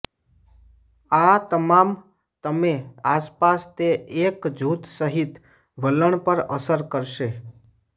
આ તમામ તમે આસપાસ તે એક જૂથ સહિત વલણ પર અસર કરશે